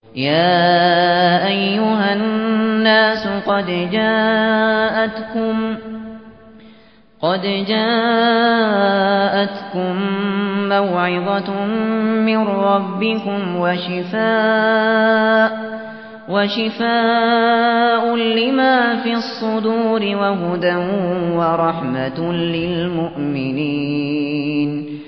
يَا أَيُّهَا النَّاسُ قَدْ جَاءَتْكُم مَّوْعِظَةٌ مِّن رَّبِّكُمْ وَشِفَاءٌ لِّمَا فِي الصُّدُورِ وَهُدًى وَرَحْمَةٌ لِّلْمُؤْمِنِينَ